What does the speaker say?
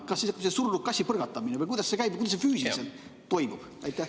Kas toimub sedasi surnud kassi põrgatamine või kuidas see käib, kuidas see füüsiliselt toimub?